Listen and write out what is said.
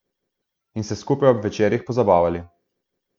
In se skupaj ob večerih pozabavali.